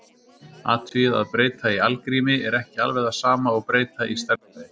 Athugið að breyta í algrími er ekki alveg það sama og breyta í stærðfræði.